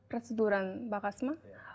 процедураның бағасы ма иә